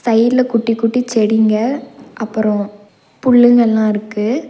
சைட்ல குட்டி குட்டி செடிங்க அப்பறோ புல்லுங்கல்லா இருக்கு.